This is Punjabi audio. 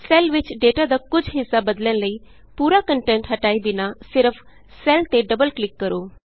ਸੈੱਲ ਵਿਚ ਡੇਟਾ ਦਾ ਕੁਝ ਹਿੱਸਾ ਬਦਲਣ ਲਈ ਪੂਰਾ ਕੰਟੈਂਟ ਹਟਾਏ ਬਿਨਾਂ ਸਿਰਫ ਸੈੱਲ ਤੇ ਡਬਲ ਕਲਿਕ ਕਰੋ